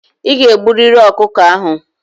I ga-egburịrị ọkụkọ ahụ!